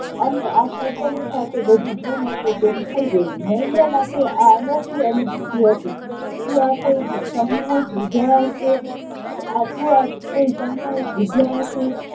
અને આ સજ્જનની સાથે બધું જેમ હતું તેમ થઇ ગયું. નરેન્દ્ર માટે આ અનોખી અનુભૂતિ હતી. શું આ સંમોહક વિદ્યા હશે, શું આ કોઈ સંમોહક વિદ્યા હશે?